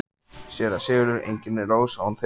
SÉRA SIGURÐUR: Engin er rós án þyrna.